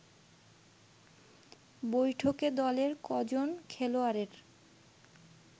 বৈঠকে দলের কজন খেলোয়াড়ের